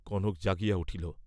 কনক জাগিয়া উঠিল।